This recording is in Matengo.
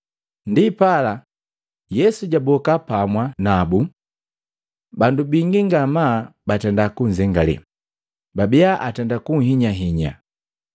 Ndipala, Yesu jaboka pamwa nabu. Bandu bingi ngamaa batenda kunzengale, babia atenda kuhinyahinya.